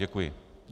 Děkuji.